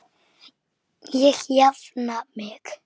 Ég jafna mig.